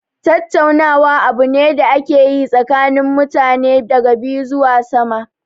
Tattaunawa abu ne da ake yi tsakanin mutane daga biyu zuwa sama.